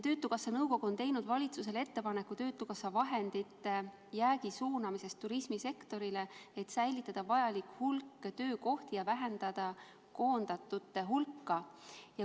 Töötukassa nõukogu on teinud valitsusele ettepaneku suunata töötukassa vahendite jääk turismisektorile, et säilitada vajalik hulk töökohti ja vähendada koondatute hulka.